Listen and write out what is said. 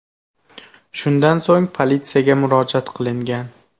Shundan so‘ng politsiyaga murojaat qilingan.